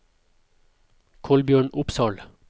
Kolbjørn Opsahl